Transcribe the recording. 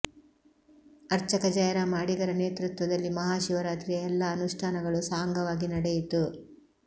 ಅರ್ಚಕ ಜಯರಾಮ ಅಡಿಗರ ನೇತೃತ್ವದಲ್ಲಿ ಮಹಾಶಿವರಾತ್ರಿಯ ಎಲ್ಲ ಅನುಷ್ಠಾನಗಳು ಸಾಂಗವಾಗಿ ನಡೆಯಿತು